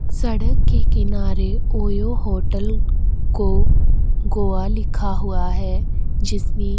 सड़क के किनारे ओयो होटल को गोवा लिखा हुआ है जिसमें --